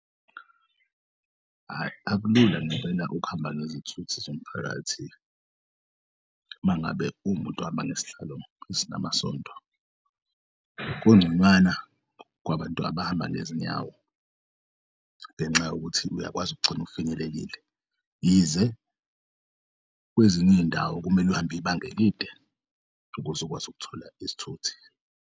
Hhayi, akulula ngempela ukuhamba ngezithuthi zomphakathi mangabe uwumunt'ohamba ngesihlalo esinamasondo kungconywana kwabantu abahamba ngezinyawo, ngenxa yokuthi uyakwazi ukugcin'finyelelile yize kweziny'iy'ndawo kumele uhambe ibanga elide ukuze ukwazi ukuthola isithuthi.